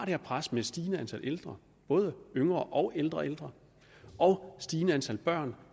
her pres med et stigende antal ældre både yngre og ældre ældre og stigende antal børn